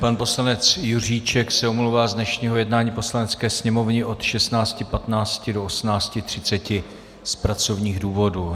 Pan poslanec Juříček se omlouvá z dnešního jednání Poslanecké sněmovny od 16.15 do 18.30 z pracovních důvodů.